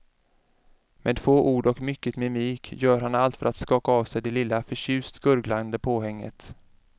Med få ord och mycket mimik gör han allt för att skaka av sig det lilla förtjust gurglande påhänget.